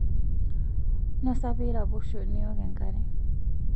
nosa piiraposho niok enkare